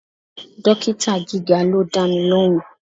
Dókítà gíga ló dámi lóhùn.